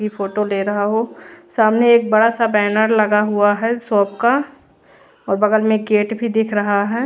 Photo ले रहा हो सामने एक बड़ा सा बैनर लगा हुआ है शॉप का और बगल में गेट भी दिख रहा है।